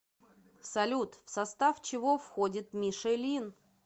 салют в состав чего входит мишелин